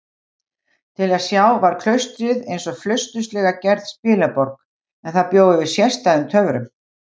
Til að sjá var klaustrið einsog flausturslega gerð spilaborg, en það bjó yfir sérstæðum töfrum.